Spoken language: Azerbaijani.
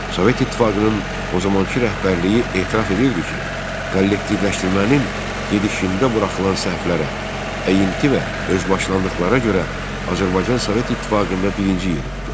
Sovet İttifaqının o zamankı rəhbərliyi etiraf edirdi ki, kollektivləşdirmənin gedişində buraxılan səhvlərə, əyinti və özbaşınalıqlara görə Azərbaycan Sovet İttifaqında birinci yeri tutur.